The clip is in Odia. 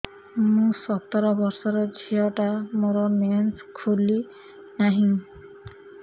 ମୁ ସତର ବର୍ଷର ଝିଅ ଟା ମୋର ମେନ୍ସେସ ଖୁଲି ନାହିଁ